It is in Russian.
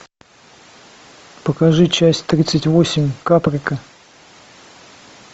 покажи часть тридцать восемь каприка